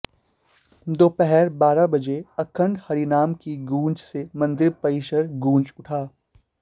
दोपहर बारह बजे अखंड हरिनाम की गुंज से मंदिर परिसर गुंज उठा